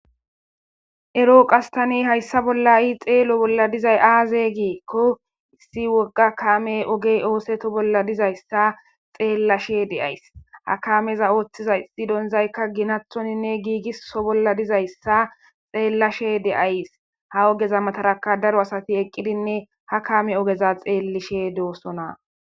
Ero qas tan haysa bolla xelo bolla dizay aze giikon issi woga kaamey ogey otheto bolla dizaysa xelashe de'ays, ha kaameza othiza issi donzayka Ginathoninne gigso bolla dizaysa xelashe de'ays. Ha ogeza mataraka daro asati eqidinne ha kame ogeza xelishe dosona .